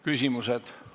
Küsimused.